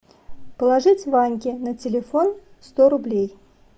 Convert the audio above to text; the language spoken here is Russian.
положить ваньке на телефон сто рублей